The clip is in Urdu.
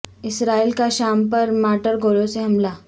اسرائیل کا شام پر مارٹر گولوں سے حملہ